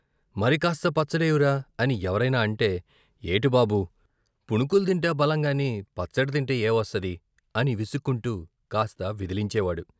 "మరికాస్త పచ్చడేయ్యు రా" అని ఎవరైనా అంటే" ఏటి బాబూ, పుణుకులు తింటే బలంగాని పచ్చడి తింటే ఏవస్తది" అని విసుక్కుంటూ కాస్త విదిలించే వాడు.